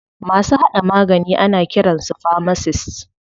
Masu haɗa magani ana kiran su famasist.